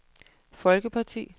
folkeparti